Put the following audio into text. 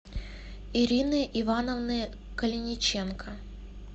ирины ивановны калиниченко